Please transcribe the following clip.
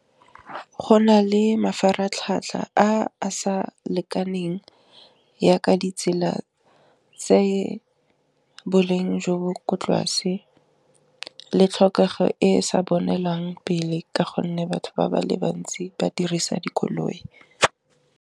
Go na le mafaratlhatlha a sa lekaneng ya ka ditsela tse boleng jo bo kwa tlase, le tlhokego e e sa bonelwang pele, ka gonne batho ba ba le bantsi ba dirisa dikoloi.